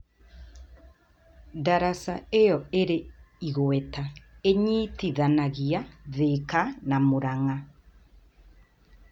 Daraca ĩyo ĩrĩ igweta ĩnyitithanagia Thĩka na Mũrang'a.